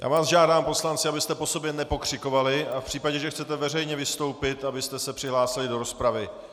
Já vás žádám, poslanci, abyste po sobě nepokřikovali, a v případě, že chcete veřejně vystoupit, abyste se přihlásili do rozpravy.